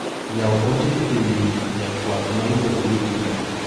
Yaw ote ewi ja twak ma iluong'o ni Juma.